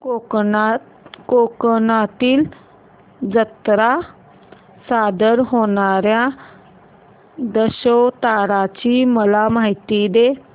कोकणातील जत्रेत सादर होणार्या दशावताराची मला माहिती दे